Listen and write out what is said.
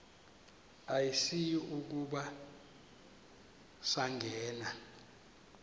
asiyi kuba sangena